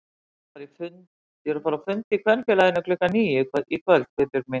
Ég er að fara á fund í Kvenfélaginu klukkan níu í kvöld Guðbjörg mín